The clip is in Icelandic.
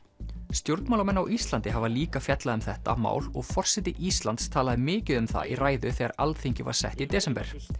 stjórnmálamenn á Íslandi hafa líka fjallað um þetta mál og forseti Íslands talaði mikið um það í ræðu þegar Alþingi var sett í desember